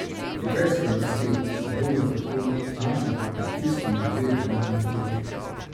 Kitajske oblasti se bodo tako znašle pod pritiskom glede denarne politike.